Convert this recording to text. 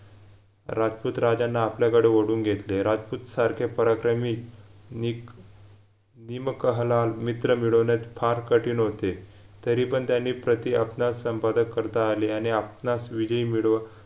राजपूत राजांना आपल्याकडे ओढवून घेतले राजपूत सारखे पराक्रमी निक निमकहलाल मित्र मिळवण्यात फार कठीण होते तरीपण त्यानी प्रति आपणास संपादक करता आले आणि आपणास विधी मिडो